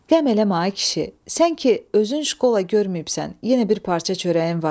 Qəm eləmə ay kişi, sən ki özün şkola görməyibsən, yenə bir parça çörəyin var.